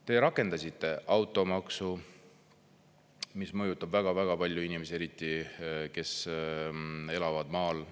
Te rakendasite automaksu, mis mõjutab väga-väga palju inimesi, eriti, kes elavad maal.